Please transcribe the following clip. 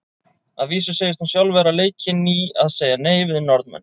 Að vísu segist hún sjálf vera leikin í að segja nei við Norðmenn.